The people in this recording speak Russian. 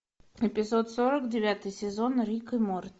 эпизод сорок девятый сезон рик и морти